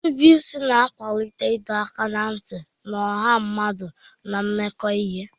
Nrubeisi na-akwalite ịdọ aka ná ntị na ọha mmadụ na-emekọ ihe.